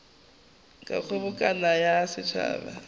a kgobokano ya setšhaba a